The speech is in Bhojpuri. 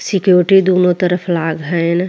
सीक्योटी दुनो तरफ लाग हैन।